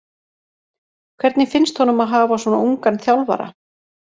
Hvernig finnst honum að hafa svona ungan þjálfara?